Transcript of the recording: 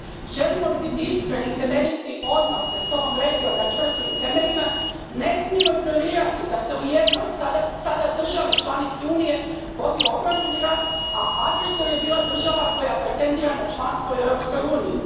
Želimo li biti iskreni i temeljiti odnose s ovom regijom na čvrstim temeljima, ne smijemo ignorirati da se u jednoj, sada državi članici Unije, vodio obrambeni rat, a agresor je bila država koja pretendira na članstvo u Europskoj uniji.